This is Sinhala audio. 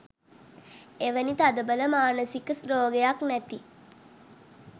එවැනි තදබල මානසික රෝගයක් නැති